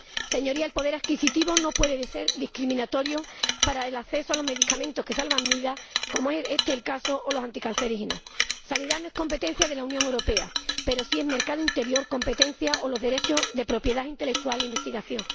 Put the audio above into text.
Señorías, el poder adquisitivo no puede ser discriminatorio para el acceso a los medicamentos que salvan vidas, como es este el caso o el de los anticancerígenos. La sanidad no es competencia de la Unión Europea, pero sí lo es el mercado interior, la competencia o los derechos de propiedad intelectual y la investigación.